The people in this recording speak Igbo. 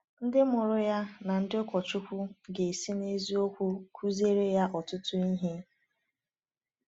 Ndị mụrụ ya na ndị ụkọchukwu ga-esi n’eziokwu kụziere ya ọtụtụ ihe.